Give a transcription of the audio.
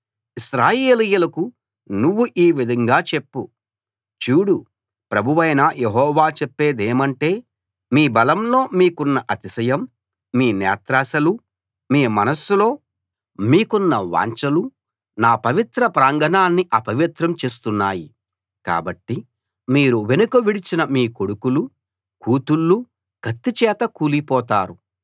ఇశ్రాయేలీయులకు నువ్వు ఈ విధంగా చెప్పు చూడు ప్రభువైన యెహోవా చెప్పేదేమంటే మీ బలంలో మీకున్న అతిశయం మీ నేత్రాశలు మీ మనస్సులో మీకున్న వాంఛలు నా పవిత్ర ప్రాంగణాన్ని అపవిత్రం చేస్తున్నాయి కాబట్టి మీరు వెనుక విడిచిన మీ కొడుకులూ కూతుళ్ళూ కత్తిచేత కూలిపోతారు